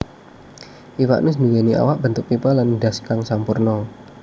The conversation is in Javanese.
Iwak nus nduwèni awak bentuk pipa lan ndhas kang sampurna